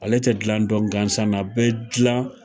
Ale tɛ dilan dɔn gansan na, a bɛ dilan